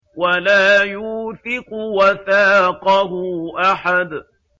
وَلَا يُوثِقُ وَثَاقَهُ أَحَدٌ